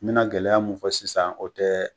N bɛna gɛlɛya mun fɔ sisan o tɛ